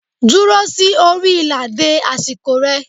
Duro si ori ila de asiko re